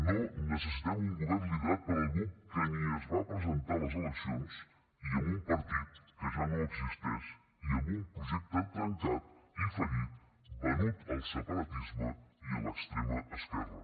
no necessitem un govern liderat per algú que ni es va presentar a les eleccions i amb un partit que ja no existeix i amb un projecte trencat i fallit venut al separatisme i a l’extrema esquerra